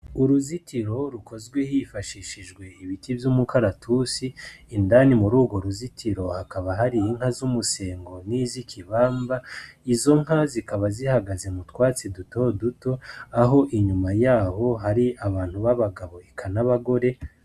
Uruzitiro rukozwe hifashishijwe ibiti vy'umukaratusi, indani murugo ruzutiro hakaba hari inka z'umusengo n'izikibamba, izonka zikaba zihagaze mutwatsi duto duto aho inyuma yaho hari abantu b'abagabo eka n'abagore.